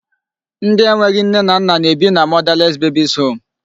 Ndị e nweghị nne na nna na-ebi na motherless babies home.